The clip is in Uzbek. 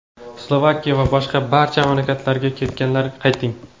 Slovakiya va boshqa barcha mamlakatlarga ketganlar, qayting.